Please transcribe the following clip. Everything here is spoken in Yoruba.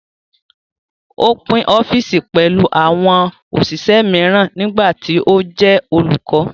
Ó pín ọ́fìsì pẹ̀lú àwọn òṣìṣẹ́ mìíràn nígbà tí ó jẹ́ olùkọ́